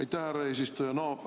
Aitäh, härra eesistuja!